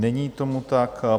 Není tomu tak.